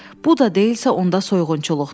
Bu da deyilsə, onda soyğunçuluqdur.